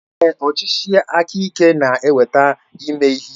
Ee, ọchịchị aka ike na-eweta ime ihe ike.